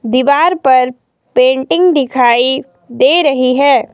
दीवार पर पेंटिंग दिखाई दे रही है।